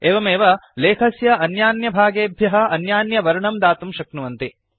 एवमेव लेखस्य अन्यान्यभागेभ्यः अन्यान्यवर्णं दातुं शक्नुवन्ति